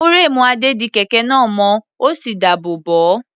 Fúréèmù Adé di kẹ̀kẹ́ náà mọ́, ó sì dáàbò bò ó.